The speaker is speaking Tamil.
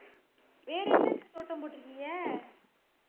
வேறு எதுக்கு தோட்டம் போட்டு இருக்கீங்க